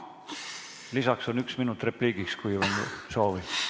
Lisaks on üks minut repliigiks, kui on soovi.